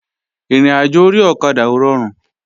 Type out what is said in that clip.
Ìrìnàjò orí ọ̀kadà ò rọrùn